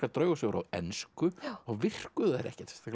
draugasögur á ensku þá virkuðu þær ekkert